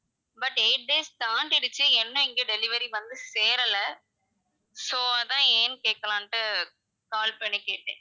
but eight days தாண்டிடுச்சு இன்னும் இங்க delivery வந்து சேரல so அதான் ஏன்னு கேக்கலான்ட்டு call பண்ணி கேட்டேன்.